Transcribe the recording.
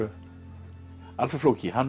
Alfreð flóki hann